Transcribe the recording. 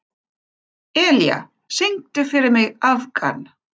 Elía, syngdu fyrir mig „Afgan“.